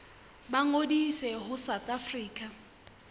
ba ngodise ho south african